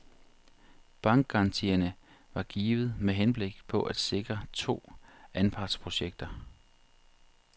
Bankgarantierne var givet med henblik på at sikre to anpartsprojekter.